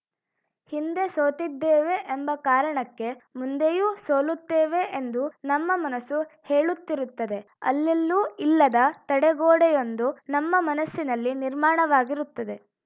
ಹಿಂದೆ ಸೋತಿದ್ದೇವೆ ಎಂಬ ಕಾರಣಕ್ಕೆ ಮುಂದೆಯೂ ಸೋಲುತ್ತೇವೆ ಎಂದು ನಮ್ಮ ಮನಸ್ಸು ಹೇಳುತ್ತಿರುತ್ತದೆ ಅಲ್ಲೆಲ್ಲೂ ಇಲ್ಲದ ತಡೆಗೋಡೆಯೊಂದು ನಮ್ಮ ಮನಸ್ಸಿನಲ್ಲಿ ನಿರ್ಮಾಣವಾಗಿರುತ್ತದೆ